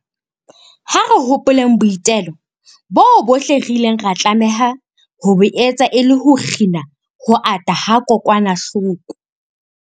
Ha re hopoleng boitelo boo bohle re ileng ra tlameha ho bo etsa e le ho kgina ho ata ha kokwanahloko.